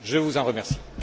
Je vous en remercie.